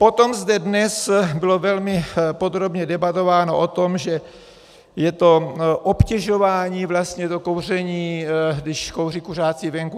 Potom zde dnes bylo velmi podrobně debatováno o tom, že je to obtěžování vlastně, to kouření, když kouří kuřáci venku.